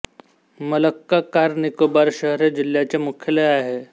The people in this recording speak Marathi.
मलक्का कार निकोबार शहर हे जिल्ह्याचे मुख्यालय आहे